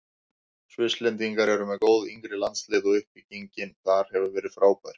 Svisslendingar eru með góð yngri landslið og uppbyggingin þar hefur verið frábær.